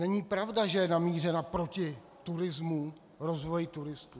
Není pravda, že je namířena proti turismu, rozvoji turistů.